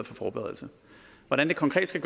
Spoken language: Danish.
for forberedelse hvordan det konkret skal